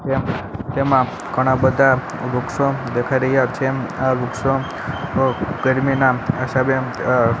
તેમા ઘણા બધા વૃક્ષો દેખાય રહ્યા છે આ વૃક્ષો ગરમીના અ--